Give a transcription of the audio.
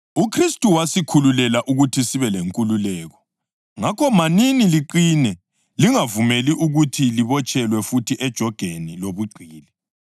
UKhristu wasikhululela ukuthi sibe lenkululeko. Ngakho manini liqine, lingavumeli ukuthi libotshelwe futhi ejogeni lobugqili.